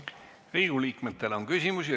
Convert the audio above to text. Riigikogu liikmetel on küsimusi.